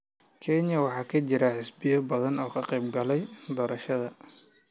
Kenya waxaa ka jira xisbiyo badan oo ka qeyb galaya doorashada.